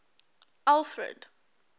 alfred